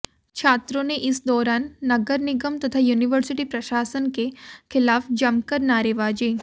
छात्रों ने इस दौरान नगर निगम तथा यूनिवर्सिटी प्रशासन के खिलाफ जमकर नारेबाजी